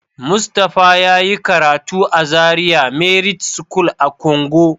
Mustapha yayi karatu a Zaria merit school a Kongo.